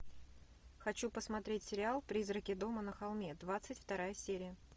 хочу посмотреть сериал призраки дома на холме двадцать вторая серия